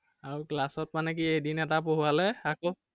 আৰু class ত মানে কি এদিন এটা পঢ়োবালে, আকৌ